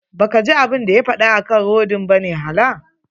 Ba kaji abun da ya faɗa akan rodin bane hala.